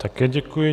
Také děkuji.